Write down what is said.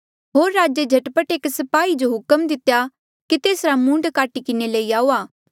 होर राजे झट पट एक स्पाही जो हुक्म दितेया कि तेसरा मूंड काटी किन्हें लई आऊआ